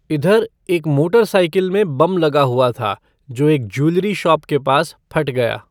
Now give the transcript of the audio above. इधर, एक मोटरसाइकिल में बम लगा हुआ था जो एक ज्वेलरी शॉप के पास फट गया।